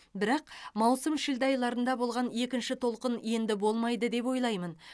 бірақ маусым шілде айларында болған екінші толқын енді болмайды деп ойлаймын